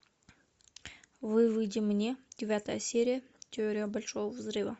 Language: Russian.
выведи мне девятая серия теория большого взрыва